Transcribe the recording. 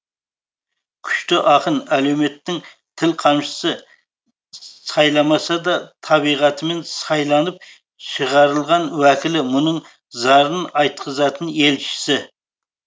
күшті ақын әлеуметінің тіл қамшысы сайламаса да табиғатымен сайланып шығарылған уәкілі мұңын зарын айтқызатын елшісі